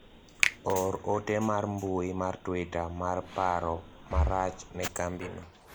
or ote mar mbui mar twita mar paro marach ne kambino